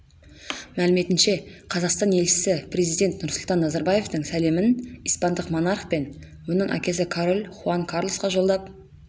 мәліметінше қазақстан елшісі президент нұрсұлтан назарбаевтың сәлемін испандық монарх пен оның әкесі король хуан карлосқа жолдап